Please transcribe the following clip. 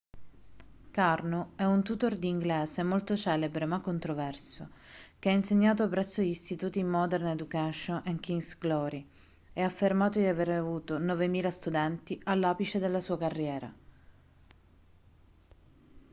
karno è un tutor di inglese molto celebre ma controverso che ha insegnato presso gli istituti modern education e king's glory e ha affermato di aver avuto 9.000 studenti all'apice della sua carriera